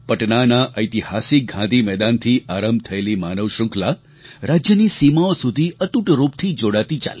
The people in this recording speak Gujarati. પટનાના ઐતિહાસિક ગાંધી મેદાનથી આરંભ થયેલી માનવ શ્રૃંખલા રાજ્યની સીમાઓ સુધી અતૂટ રૂપથી જોડાતી ચાલી